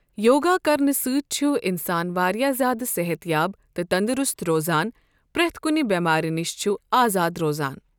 یوگا کَرنہٕ سۭتۍ چھُ اِنسان واریاہ زیادٕ صحت یاب تہٕ تَندرُست روزان پرٮ۪تھ کُنہِ بیمارۍ نِش چھُ آزاد روزان۔